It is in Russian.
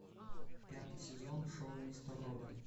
пятый сезон шоу мистер робот